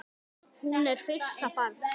Hún er fyrsta barn.